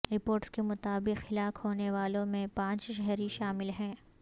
reports کے مطابق ہلاک ہونے والوں میں پانچ شہری شامل ہیں